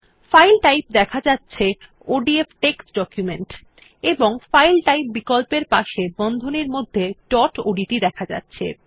file type দেখা যাচ্ছে ODF text document এবং ফাইল টাইপ বিকল্পের পাশে বন্ধনীর মধ্যে ডট ওডিটি দেখা যাচ্ছে